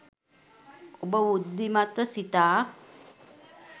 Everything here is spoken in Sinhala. ඔබ බුද්ධිමත්ව සිතා